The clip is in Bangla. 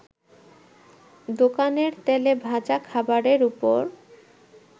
দোকানের তেলে ভাজা খাবারের ওপর